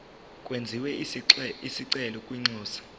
kwenziwe isicelo kwinxusa